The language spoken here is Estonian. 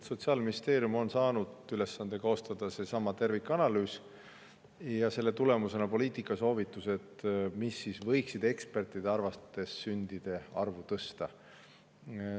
Sotsiaalministeerium on saanud ülesande koostada seesama tervikanalüüs ja selle tulemusena poliitikasoovitused, mis ekspertide arvates võiksid sündide arvu tõsta.